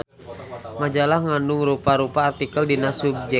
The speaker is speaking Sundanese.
Majalah ngandung rupa-rupa artikel dina subjek